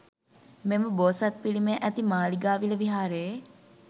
මෙම බෝසත් පිළිමය ඇති මාලිගාවිල විහාරයේ